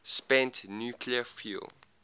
spent nuclear fuel